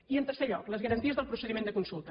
i en tercer lloc les garanties del procediment de consulta